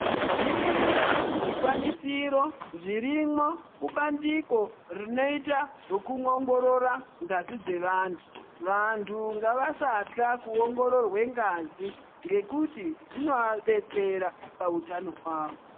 Zviriyo zvikwanisiro zviriyo kubandiko rinoita zvekuongorora ngazi dzevantu vantu nagavasatya kuongororwa ngazi ngekuti zvinovadetsera pahutano hwavo.